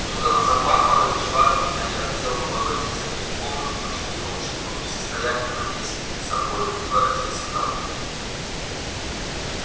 тут она заплакала и ушла от меня я хотел было войти за нею в комнату но чувствовал что был не в состоянии владеть самим собою и воротился домой